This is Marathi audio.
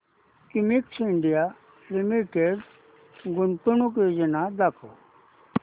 क्युमिंस इंडिया लिमिटेड गुंतवणूक योजना दाखव